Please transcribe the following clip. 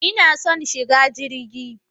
Ina son shiga jirgi.